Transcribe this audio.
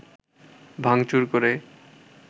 ভাঙচুর করে